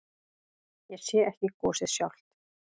Ég sé ekki gosið sjálft.